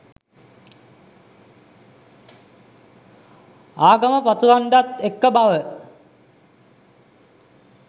ආගම පතුරන්ඩත් එක්ක බව.